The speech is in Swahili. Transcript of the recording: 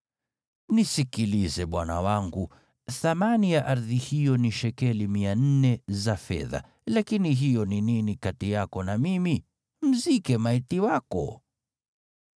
“Nisikilize, bwana wangu, thamani ya ardhi hiyo ni shekeli 400 za fedha, lakini hiyo ni nini kati yako na mimi? Mzike maiti wako.”